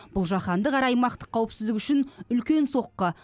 бұл жаһандық әрі аймақтық қауіпсіздік үшін үлкен соққы